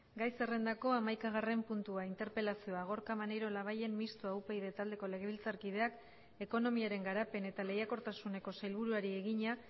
gai zerrendako hamaikagarren puntua interpelazioa gorka maneiro labayen mistoa upyd taldeko legebiltzarkideak ekonomiaren garapen eta lehiakortasuneko sailburuari egina